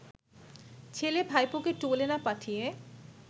ছেলে-ভাইপোকে টোলে না পাঠিয়ে